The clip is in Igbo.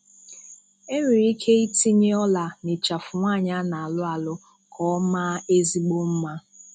E nwere ike itinye ọ́là n'ịchafụ nwaanyị a na-alụ alụ ka ọ maa ezigbo mma.